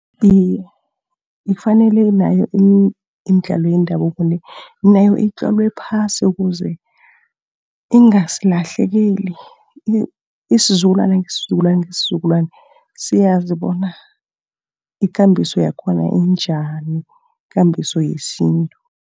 Iye, kufanele nayo imidlalo yendabuko le, nayo itlolwe phasi ukuze ingasilahlekeli. Isizukulwana ngesizukulwana ngesizukulwana, siyazi bona ikambiso yakhona injani, ikambiso yesintu.